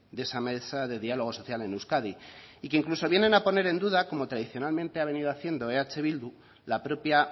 de esa mesa de diálogo social en euskadi y que incluso vienen a poner en duda como tradicionalmente ha venido haciendo eh bildu la propia